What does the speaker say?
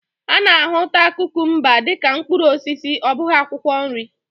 A na-ahụta kukumba dị ka mkpụrụ osisi ọ bụghị akwụkwọ nri.